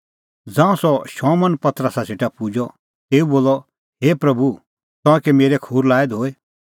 ज़ांऊं सह शमौन पतरसा सेटा पुजअ तेऊ बोलअ हे प्रभू तंऐं कै मेरै खूर लाऐ धोई